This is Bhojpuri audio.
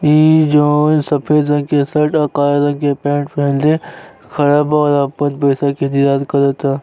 इ जॉन सफेद रंग के शर्ट और काला रंग के पैंट पहन ले खड़ा बा और आपन पैसा के इंतजार करता।